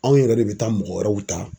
Anw yɛrɛ de bɛ taa mɔgɔ wɛrɛw ta.